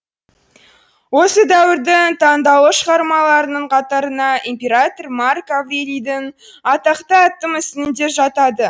осы дәуірдің таңдаулы шығармаларының қатарына император марк аврелийдің атақты атты мүсіні де жатады